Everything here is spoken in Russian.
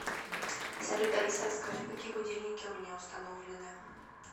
салют алиса расскажи какие будильники у меня установлены